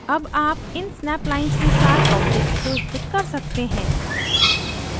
अब आप इन snap lines के साथ objects को स्थित कर सकते हैं